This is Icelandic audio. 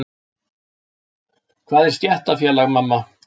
Hvað er stéttarfélag, mamma?